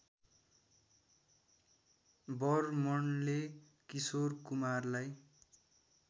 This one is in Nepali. बर्मनले किशोर कुमारलाई